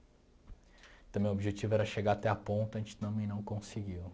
Então, meu objetivo era chegar até a ponta, a gente também não conseguiu.